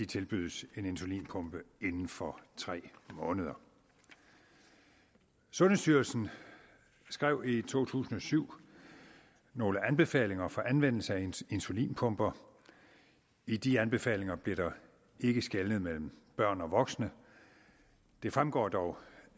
tilbydes en insulinpumpe inden for tre måneder sundhedsstyrelsen skrev i to tusind og syv nogle anbefalinger for anvendelse af insulinpumper i de anbefalinger blev der ikke skelnet mellem børn og voksne det fremgår dog